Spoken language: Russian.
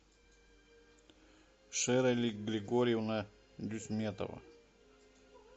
шерали григорьевна дюсьметова